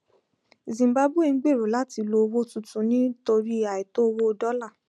zimbabwe ń gbèrò láti lo owó tuntun nítorí àìtó owó dọlà